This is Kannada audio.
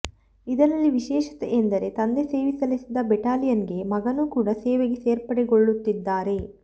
ಇದರಲ್ಲಿ ವಿಶೇಷತೆ ಎಂದರೆ ತಂದೆ ಸೇವೆ ಸಲ್ಲಿಸಿದ್ದ ಬೆಟಾಲಿಯನ್ ಗೆ ಮಗನೂ ಕೂಡ ಸೇವೆಗೆ ಸೇರ್ಪಡೆಗೊಳ್ಳುತ್ತಿದ್ದಾರೆ